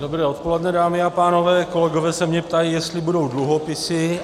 Dobré odpoledne, dámy a pánové, kolegové se mě ptají, jestli budou dluhopisy.